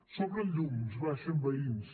s’obren llums baixen veïns